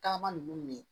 Tagama nunnu